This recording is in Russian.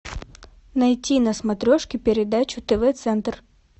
найти на смотрешке передачу тв центр